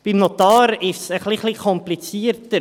Beim Notar ist es ein klein wenig komplizierter.